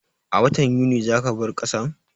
A watan Yunin za ka bar kasan?